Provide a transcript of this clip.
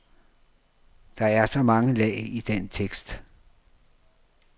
Der er så mange lag i den tekst.